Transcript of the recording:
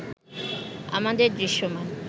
আমাদের দৃশ্যমান